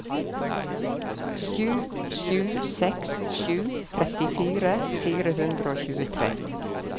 sju sju seks sju trettifire fire hundre og tjuetre